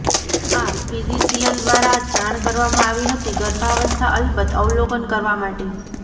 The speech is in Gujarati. આ ફિઝિશિયન દ્વારા જાણ કરવામાં આવી હતી ગર્ભાવસ્થા અલબત્ત અવલોકન કરવા માટે